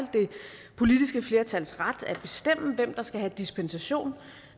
politiske flertals ret at bestemme hvem der skal have dispensation